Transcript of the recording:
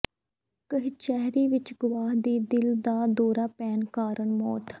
ਕਚਹਿਰੀ ਵਿੱਚ ਗਵਾਹ ਦੀ ਦਿਲ ਦਾ ਦੌਰਾ ਪੈਣ ਕਾਰਨ ਮੌਤ